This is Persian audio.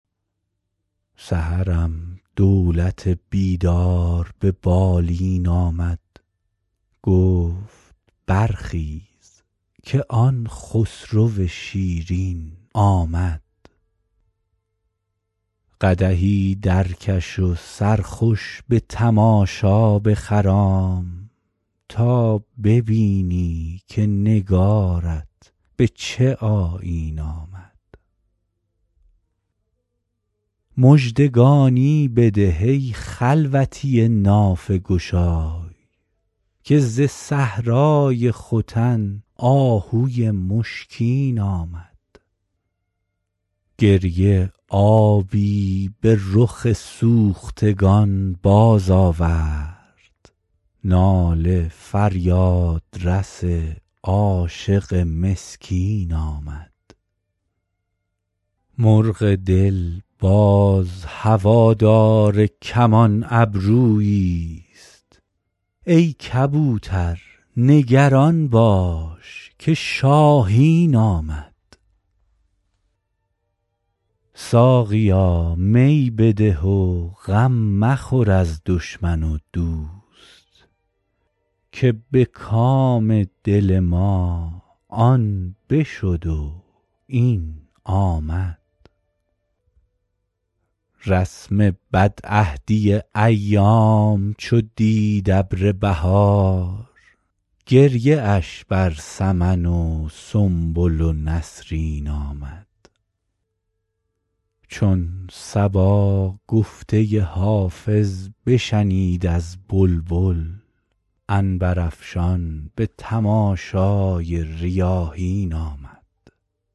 سحرم دولت بیدار به بالین آمد گفت برخیز که آن خسرو شیرین آمد قدحی درکش و سرخوش به تماشا بخرام تا ببینی که نگارت به چه آیین آمد مژدگانی بده ای خلوتی نافه گشای که ز صحرای ختن آهوی مشکین آمد گریه آبی به رخ سوختگان بازآورد ناله فریادرس عاشق مسکین آمد مرغ دل باز هوادار کمان ابروییست ای کبوتر نگران باش که شاهین آمد ساقیا می بده و غم مخور از دشمن و دوست که به کام دل ما آن بشد و این آمد رسم بدعهدی ایام چو دید ابر بهار گریه اش بر سمن و سنبل و نسرین آمد چون صبا گفته حافظ بشنید از بلبل عنبرافشان به تماشای ریاحین آمد